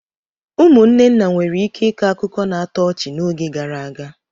Ụmụnne nna nwere ike ịkọ akụkọ na-atọ ọchị n'oge gara aga.